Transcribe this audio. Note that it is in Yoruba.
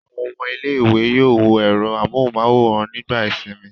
Àwọn ọmọ ilé-ìwé yóò wo ẹ̀rọ amóhùmáwòhán nígbà ìsìnmi.